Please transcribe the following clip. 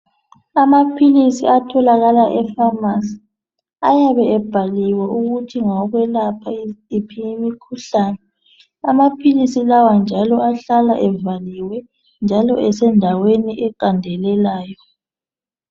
Amaphilisi atholakala efamasi ayabe ebhaliwe ukuthi ngakwelapha yiphi imikhuhlane. Amaphilisi lawa njalo ahlala evaliwe njalo esendaweni eqandelelayo.